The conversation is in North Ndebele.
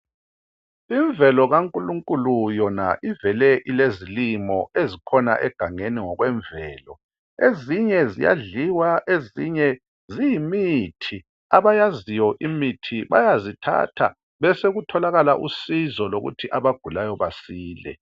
Imvelo kakhulunkulu yona ilevele ilezilimo ezikhona ngokwemvelo. Ezinye ziyadliwa, ezinye ziyimithi. Abayaziyo imithi bayazithatha besekutholakala usizo lokuthi abagulayo balise.